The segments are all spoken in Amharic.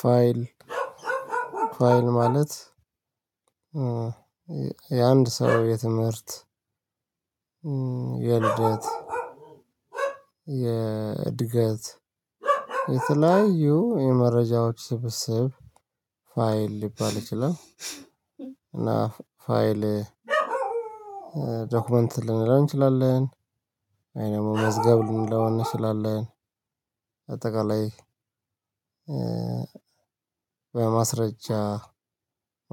ፋይል ፋይል ማለት የአንድ ሰው የትምህርት የልደት የእድገት የተለያዩ የመረጃዎች ስብስብ ፋይል ሊባል ይችላል እና ፋይል ዶክመንት ልንለው እንችላለን ወይ ደግሞ መዝገብ ልንለው እንችላለን በአጠቃላይ በማስረጃ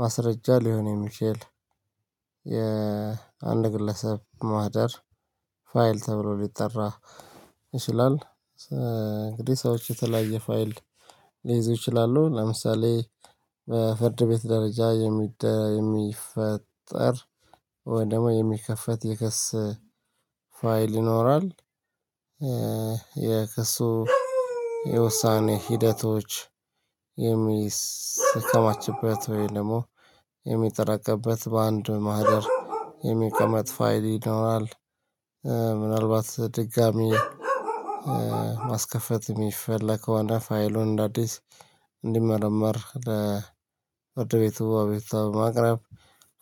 ማስረጃ ሊሆን የሚችል የአንድ ግለሰብ ማህደር ፋይል ተብሎ ሊጠራ ይችላል። እንግዲህ ሰዎች የተለያየ ፋይል ሊይዙ ይችላሉ። ለምሳሌ ፍርድ ቤት ደረጃ የሚፈጠር ወይ ደግሞ የሚከፈት የክሰ ፋይል ይኖራል። የክሱ የውሳኔ ሂደቶች የሚከማችበት ወይም ደግሞ የሚጠራቀምበት በአንድ ማህደር የሚቀመጥ ፋይል ይኖራል። ምናልባት ድጋሚ ማስከፈት የሚፈለገ ከሆነ ፋይሉን እንደ አዲስ እንዲመረመር ለፍርድ ቤቱ አቤቶታ በማቅረብ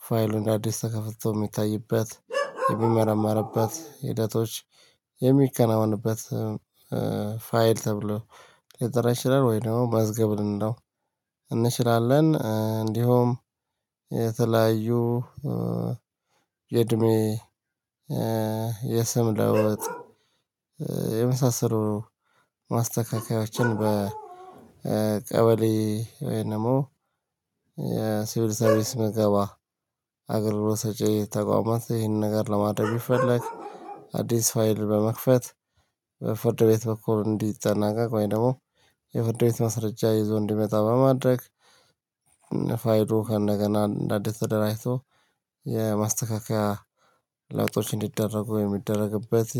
ፋይሉ እንደ አዲስ ተከፍቶ የሚታይበት የሚመረመርበት ሂደቶች የሚከናወንበት ፋይል ተብሎ ሌጠራ ይችላል። ወይም ደግሞ መዝገብ ልንለው እንችላለን። እንዲሁም የተለያዩ የእድሜ የስም ለውጥ የመሳሰሉ ማስተካከያዎችን በቀበሌ ወይም ደግሞ ሲቪል ሰርቪስ ምገባ አገልግሎት ሰጪ ተቋማት ላይ ይሄንን ነገር ለማድረግ ቢፈለግ። አዲስ ፋይል በመክፈት በፍርድ ቤት በኩል እንዲጠናቀቅ ወይ ደግሞ የፍርድ ቤት መስረጃ ይዞ እንዲመጣ በማድረግ ፋይሉ ከንደገና እንደ አዲስ ተደራጅቶ የማስተካከያ ለውጦች እንዲደረጉ ወይም የሚደረግበት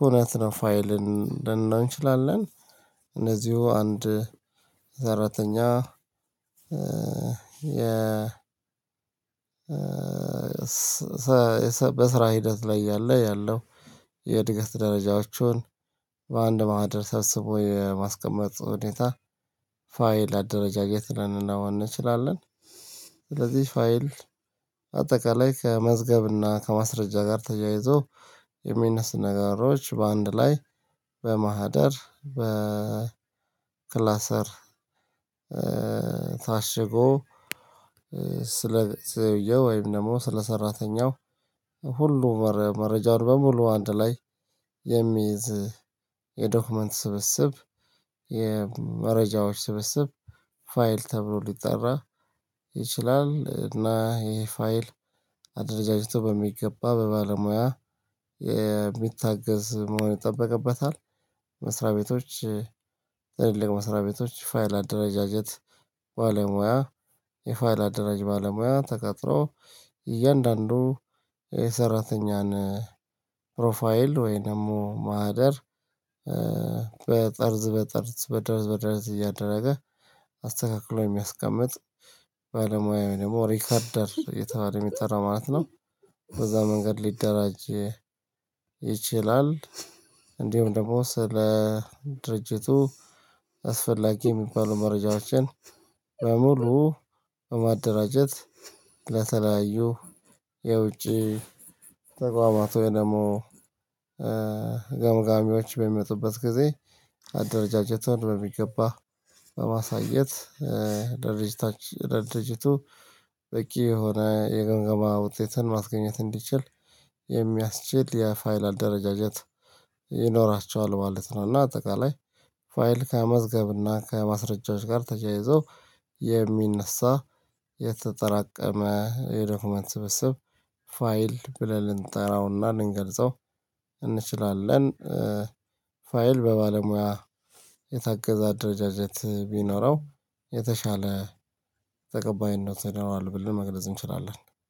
ሁነት ነው ፋይልን ልንላው እንችላለን። እነዚሁ አንድ ሰራተኛ የ በስራ ሂደት ላይ ያለ ያለው የእድገት ደረጃዎቹን በአንድ ማህደር ሰብስቦ የማስቀመጥ ሁኔታ ፋይል አደረጃጀት ልንለው እንችላለን። ስለዚህ ፋይል አጠቃላይ ከመዝገብና ከማስረጃ ጋር ተያይዞ የሚነሱ ነገሮች በአንድ ላይ በማህደር በክላሰር ታሽጎ ሰውየው ወይም ደግሞ ስለ ሰራተኛው ሁሉ መረጃውን በሙሉ አንድ ላይ የሚይዝ የዶክመንት ስብስብ የመረጃዎች ስብስብ ፋይል ተብሎ ሊጠራ ይችላል። እና ይሄ ፋይል አደረጃጀቱ በሚገባ በባለሙያ የሚታገዝ መሆን ይጠበቅበታል። መስሪያ ቤቶች መስሪያ ቤቶች ፋይል አደረጃጀት ባለሙያ የፋይል አደራጅ ባለሙያ ተቀጥሮ እያንዳንዱ የሰራተኛን ፕሮፋይል ወይንም ማህደር በጠርዝ በጠርዝ በደረዝ በደረዝ እያደረገ አስተካክሎ የሚያስቀምጥ ባለሙያ ወይ ደግሞ ሪከርደር እየተባለ የሚጠራ ማለት ነው። በዛ መንገድ ሊደራጅ ይችላል። እንዲሁም ደግሞ ስለ ድርጅቱ አስፈላጊ የሚባሉ መረጃዎችን በሙሉ በማደራጀት ለተለያዩ የውጪ ተቋማት ወይ ደግሞ ገምጋሚዎች በሚመጡበት ጊዜ አደረጃጀቱን በሚገባ በማሳየት ድርጅቱ በቂ የሆነ የግምገማ ውጤትን ማስገኘት እንዲችል የሚያስችል የፋይል አደረጃጀት ይኖራቸዋል ማለት ነው። እና አጠቃላይ ፋይል ከመዝገብ እና ከማስረጃዎች ጋር ተያይዞ የሚነሳ የተጠራቀመ የዶክመንት ስብስብ ፋይል ብለን እንጠራውና ልንገልጸው እንችላለን። ፋይል በባለሙያ የታገዘ አደረጃጀት ቢኖረው የተሻለ ተቀባይነት ይኖረዋል ብለን መግለጽ እንችላለን